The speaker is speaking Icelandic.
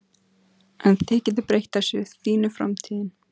En þið getið breytt þessu, þín er framtíðin